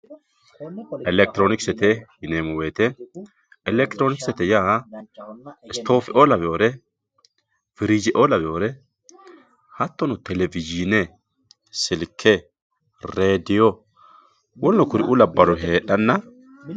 elekitironikise elekitiroonkisete yaa istoofeoo lawewore firiijeoo lawewore hattono televizhine silke redio woluno kuriuu labbannori heedhanna